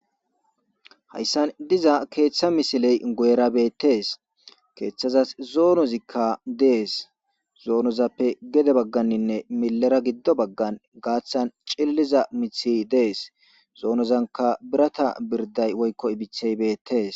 Hayssan diiza keththa missiley guyera bettes keththazas zoonozika dessi zoonozappe geede bagganinne millera giido baggan gaththan ciililiza miththi dessi zoonozanka biirata birdday woykko ibbiththey bettes.